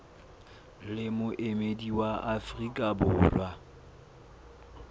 le moemedi wa afrika borwa